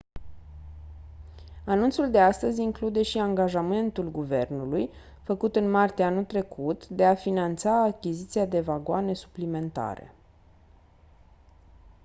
anunțul de astăzi include și angajamentul guvernului făcut în martie anul curent de a finanța achiziția de vagoane suplimentare